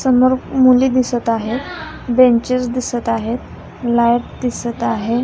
समोर मुली दिसत आहे बेंचेस दिसत आहेत लाइट दिसत आहे.